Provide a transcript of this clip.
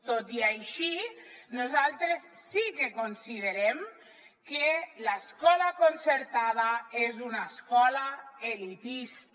tot i així nosaltres sí que considerem que l’escola concertada és una escola elitista